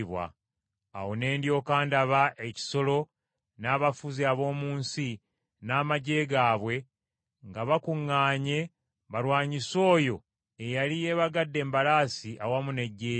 Awo ne ndyoka ndaba ekisolo n’abafuzi ab’omu nsi n’amaggye gaabwe nga bakuŋŋaanye balwanyise oyo eyali yeebagadde embalaasi, awamu n’eggye lye.